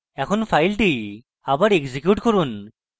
এখন file আবার execute করুন